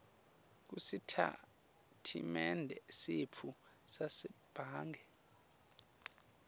kusitatimende setfu sasebhange